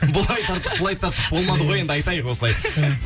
былай тарттық былайық тарттық болмады ғой енді айтайық осылай